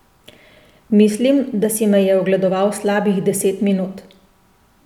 Mislim, da si me je ogledoval slabih deset minut.